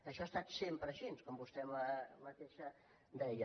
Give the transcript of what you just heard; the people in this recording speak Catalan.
això ha estat sempre així com vostè mateixa deia